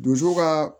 Donso ka